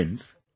Friends,